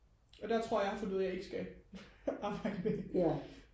og der tror jeg at jeg har fundet ud af at jeg ikke skal arbejde med dem